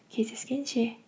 кездескенше